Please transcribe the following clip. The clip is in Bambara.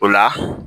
O la